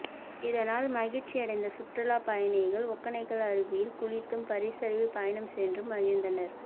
இதனால் மகிழ்ச்சி அடைந்த சுற்றுலா பயணிகள் ஒகெனக்கல் அருவியில் குளித்தும் பரிசலில் பயணம் சென்றும் மகிழ்ந்தனர்